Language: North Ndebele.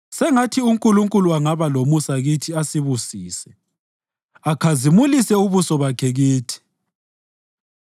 Sengathi uNkulunkulu angaba lomusa kithi asibusise akhazimulise ubuso bakhe kithi,